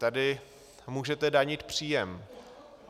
Tady můžete danit příjem.